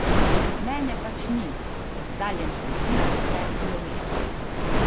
Mene pač ni, oddaljen sem tisoče kilometrov.